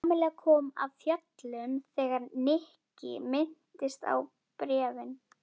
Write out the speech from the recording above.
Kamilla kom af fjöllum þegar Nikki minntist á bréfin.